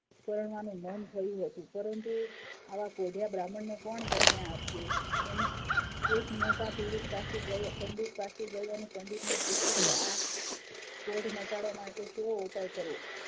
પરવાનું મન થયું હતું પરંતુ આવા કોઢિયા બ્રાહ્મણ ને કોણ કન્યા આપે એ એક મોટા પંડિત પાસે ગયો અને પંડિત ને પૂછ્યું કે આ કોઢ મટાડવા માટે શો ઉપાય કરવો